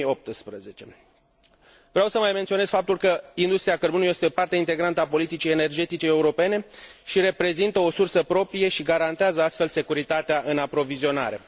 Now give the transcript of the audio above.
2018. Vreau să mai menționez faptul că industria cărbunelui este parte integrantă a politicii europene și reprezintă o sursă proprie și garantează astfel securitatea în aprovizionare.